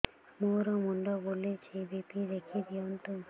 ମୋର ମୁଣ୍ଡ ବୁଲେଛି ବି.ପି ଦେଖି ଦିଅନ୍ତୁ